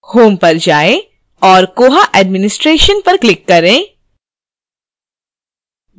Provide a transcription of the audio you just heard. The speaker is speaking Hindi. home पर जाएँ और koha administration पर click करें